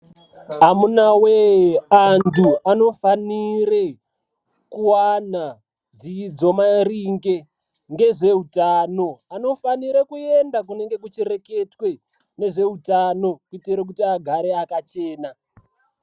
Amunawe vantu vanofanira kuwana dzidzo maringe ngezveutano. Anofanirwe kuende kunenge kweireketwa ngezveutano kuitire kuti agare akachena.